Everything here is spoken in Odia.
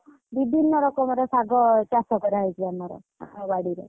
ବିଭିନ୍ନ ରକମର ଆମ ବାଡିରେ।